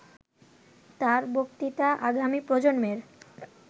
''তাঁর বক্তৃতা আগামী প্রজন্মের